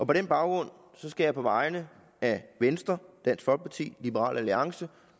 på den baggrund skal jeg på vegne af venstre dansk folkeparti liberal alliance